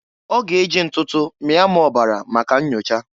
Ọ g'e ji ntụtụ mịa m ọbara maka nnyocha.